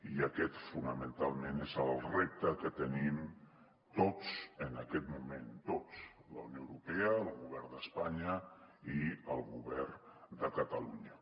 i aquest fonamentalment és el repte que tenim tots en aquest moment tots la unió europea el govern d’espanya i el govern de catalunya